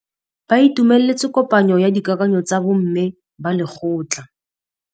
Ba itumeletse kôpanyo ya dikakanyô tsa bo mme ba lekgotla.